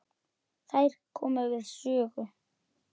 Þær komu við sögu.